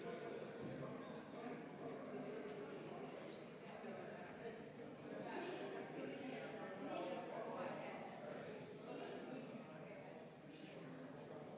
Juhtivkomisjon on teinud ettepaneku selle lõpphääletuseks, aga enne seda on võimalik avada läbirääkimised, kus saavad sõna võtta fraktsioonide esindajad.